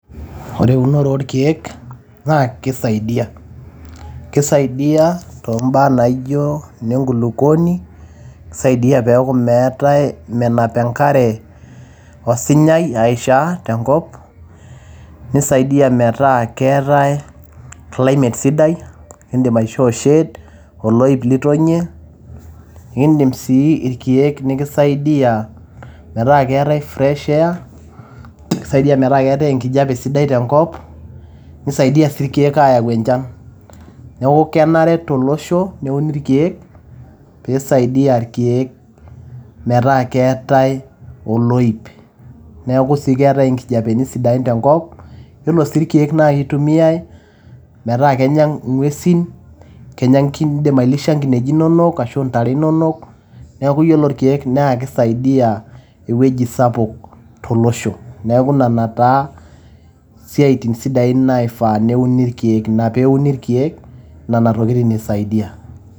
Ore eunore oorkiek naa kisaidia. kisaidia too mbaa naijo nne nkulukuoni, nisaidia peku meetae menap enkare osinyai aishaa tenkop .nisaidia metaa keetae climate sidai. nikidim aishoo shade, oloip litonie indim sii irkieek nikisaidia metaa keetae fresh air, kisaidia metaa keetae enkijape sidai tenkop . nisaidia sii irkieek ayau enchan .neaku kenare tolosho neuni irkieek ,pisaidia irkieek metaa keetae oloip. neaku sii keetae nkijapeni sidan tenkop. yiolo sii irkieek naa kitumiyay metaa kenya ingwesin, indim ailisha nkineji inonok ashu intare inonok. niaku yiolo irkieek naa kisaidia ewueji sapuk tolosho .neaku nena taa isiatin sidain naifaa neuni irkieek. ina peuni irkieek nena tokitin isaidia.